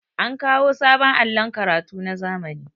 an kawo sabon allon karatu na zamani